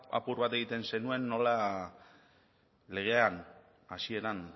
apur bat egiten zenuen nola legean hasieran